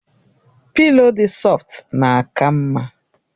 Pịlo dị sọftu na-aka mma